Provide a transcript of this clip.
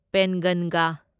ꯄꯦꯟꯒꯟꯒ